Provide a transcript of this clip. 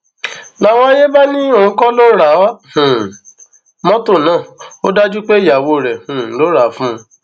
làwọn àyè bá ní òun kọ ló ra um motor náà ó dájú pé ìyàwó rẹ um ló rà á fún un